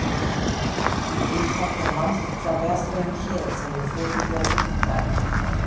Ríkharður, manstu hvað verslunin hét sem við fórum í á fimmtudaginn?